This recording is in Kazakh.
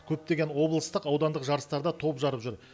көптеген облыстық аудандық жарыстарда топ жарып жүр